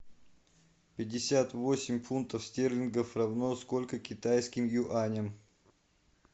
пятьдесят восемь фунтов стерлингов равно скольким китайским юаням